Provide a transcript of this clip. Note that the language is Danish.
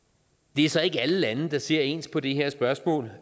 det er så ikke alle lande der ser ens på det her spørgsmål